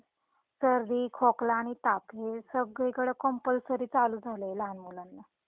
सर्दी, खोकला आणि ताप हे सगळी कडे कंपलसरी चालू झालंय लहान मुलांना.